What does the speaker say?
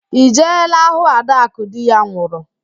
Ị jeela hụụ ạdakụ di ya nwụrụ?